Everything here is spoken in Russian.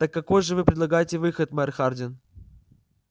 так какой же вы предлагаете выход мэр хардин